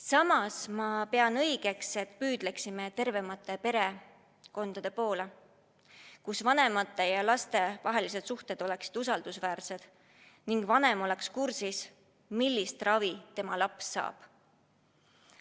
Samas ma pean õigeks, et püüdleksime tervemate perekondade poole, kus vanemate ja laste vahelised suhted oleksid usaldusväärsed ning vanem oleks kursis, millist ravi tema laps saab.